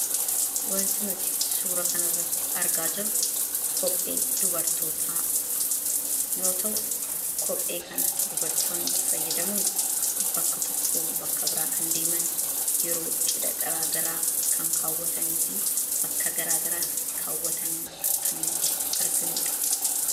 Wanti nuti suura kana irratti argaa jirru kophee dubartootaa yoo ta'u kophee kana dubartoonni fayyadamuun bakka tokko bakka biraa kan deeman yeroo cidha garaagaraa kan kaawwatanii fi bakka garaa garaatti kaawwatanii kan nuti arginudha.